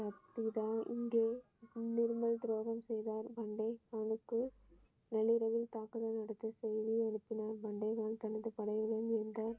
இங்கே நிர்மல் துரோகம் செய்தார் பண்டைய மகனுக்கு நள்ளிரவில் தாக்குதல் நடத்த செய்தி அனுப்பினார் தனது படைகளை மீண்டார்.